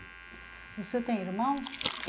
O senhor tem irmãos?